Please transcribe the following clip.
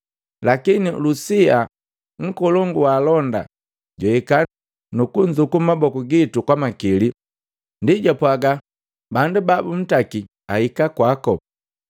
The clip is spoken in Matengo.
Lakini Lusia, nkolongu waalonda, jwahika nuku nzuku mmaboku gitu kwamakili. Ndi japwaga bandu babuntaki ahika kwaku.